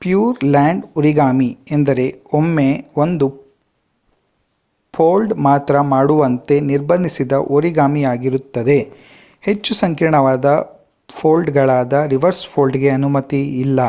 pure land origami ಎಂದರೆ ಒಮ್ಮೆ ಒಂದು ಫೋಲ್ಡ್ ಮಾತ್ರ ಮಾಡುವಂತೆ ನಿರ್ಬಂಧಿಸಿದ ಓರಿಗಾಮಿಯಾಗಿರುತ್ತದೆ ಹೆಚ್ಚು ಸಂಕೀರ್ಣವಾದ ಫೋಲ್ಡ್ ಗಳಾದ ರಿವರ್ಸ್ ಫೋಲ್ಡ್ ಗೆ ಅನುಮತಿ ಇಲ್ಲ